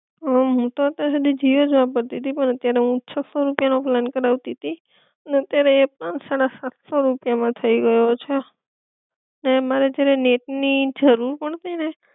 અમ હું તો અત્યાર સુધી જીઓ જ વાપરતી તી પણ અત્યારે હું છસો રૂપિયા નો પ્લાન કરાવતી તી, ને અત્યારે એ પ્લાન સાડા સાતસો રૂપિયા માં થઈ ગયો છે, ને મારે જ્યારે નેટ ની જરૂર પડતી ને